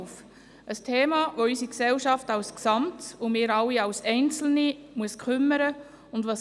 Es ist ein Thema, das unsere Gesellschaft insgesamt und uns alle als Einzelne kümmern muss.